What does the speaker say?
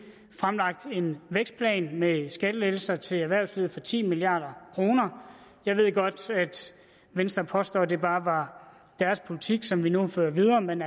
fremlagt en vækstplan med skattelettelser til erhvervslivet for ti milliard kroner jeg ved godt at venstre påstår at det bare er deres politik som vi nu har ført videre men